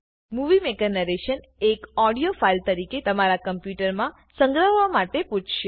movie maker narration એક audio file તરીકે તમારા કમ્પુટર સંગ્રહવા માટે પૂછશે